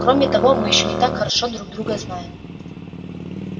кроме того мы ещё не так хорошо друг друга знаем